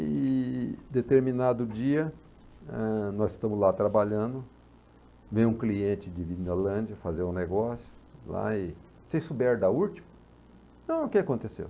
E, determinado dia, eh, nós estamos lá trabalhando, vem um cliente de Vinolândia fazer um negócio, lá e, sem souber da última, não, o que que aconteceu?